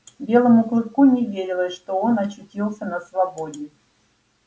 белому клыку не верилось что он очутился на свободе